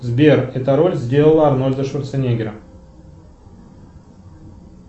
сбер эта роль сделала арнольда шварцнеггера